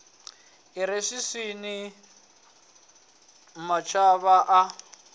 i re swiswini mavhava a